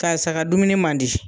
Karisa ka dumuni man di